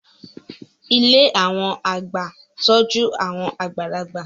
Ilé àwọn àgbà ń tọ́jú àwọn àgbàlagbà